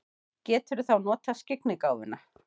Geturðu þá notað skyggnigáfuna?